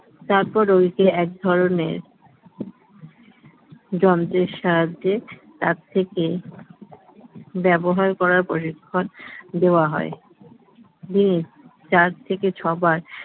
তারপর ওই যে এক ধরনের যন্ত্রের সাহায্যে তার থেকে ব্যবহার করা পরীক্ষণ দেওয়া হয় হুম চার থেকে ছয় বার